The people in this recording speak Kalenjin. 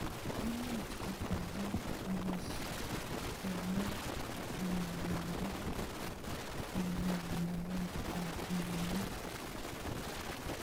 Imuch kotaret ngishekenai ngwonindo ing naet ap mionitok.